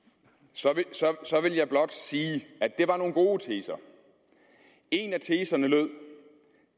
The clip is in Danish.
så så vil jeg blot sige at det var nogle gode teser en af teserne lød